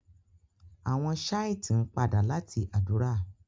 àwọn Shite n pàdà lati ádùrá.